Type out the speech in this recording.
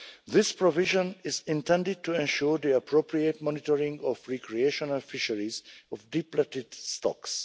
This provision is intended to ensure the appropriate monitoring of recreational fisheries of depleted stocks.